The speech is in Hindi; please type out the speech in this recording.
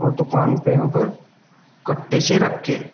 दुकान पे यहां पर कट्टे से रखे हैं।